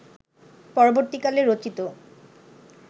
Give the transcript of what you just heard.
পরবর্তীকালে রচিত